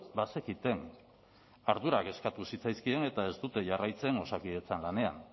bazekiten ardurak eskatu zitzaizkien eta ez dute jarraitzen osakidetzan lanean